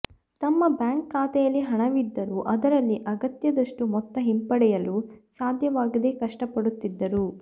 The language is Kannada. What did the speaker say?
ತಮ್ಮ ಬ್ಯಾಂಕ್ ಖಾತೆಯಲ್ಲಿ ಹಣವಿದ್ದರೂ ಅದರಲ್ಲಿ ಅಗತ್ಯದಷ್ಟು ಮೊತ್ತ ಹಿಂಪಡೆಯಲು ಸಾಧ್ಯವಾಗದೆ ಕಷ್ಟಪಡುತ್ತಿದ್ದರು